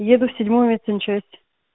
еду в седьмую медсанчасть